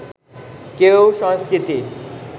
কেউ সংস্কৃতির